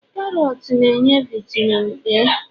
karots na-enye vitamin A